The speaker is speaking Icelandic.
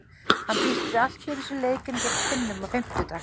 Hann býst við allt öðruvísi leik en gegn Finnum á fimmtudag.